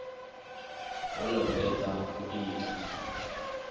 vho no fhedza u ita